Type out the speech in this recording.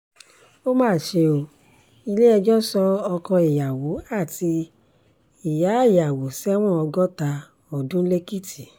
ó mà ṣe ò ilé-ẹjọ́ sọ ọkọ ìyàwó àti ìyááyàwó sẹ́wọ̀n ọgọ́ta ọdún lẹ́kìtì